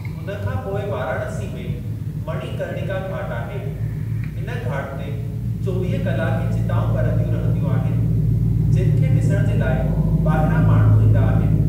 हुन खां पोइ वाराणसी में मणिकर्णिका घाट आहे। इन घाट ते चोवीह कलाक ई चिताऊं ॿरंदियूं रहंदियूं आहिनि जिनि खे ॾिसणु जे लाइ ॿाहिरां माण्हू ईंदा आहिनि।